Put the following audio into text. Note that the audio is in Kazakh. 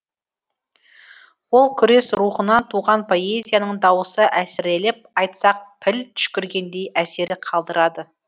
ол күрес рухынан туған поэзияның дауысы әсірелеп айтсақ піл түшкіргендей әсер қалдырады